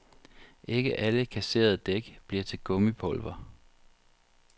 Ikke alle kasserede dæk bliver til gummipulver.